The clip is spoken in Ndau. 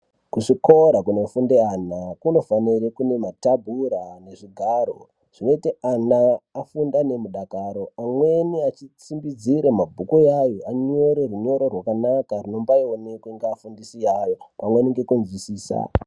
Kuzvikora kunofunde ana kunofanira kune matebhura nezvigaro zvinoite ana afunde nemudakaro amweni achitsimbidzira mabhuku iyayo anyore runyoro rwakanaka runombaioneka ngeafundisi awo pamweni ngekuzwisisa.